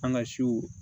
An ka siw